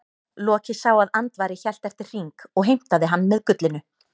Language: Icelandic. Loki sá að Andvari hélt eftir hring og heimtaði hann með gullinu.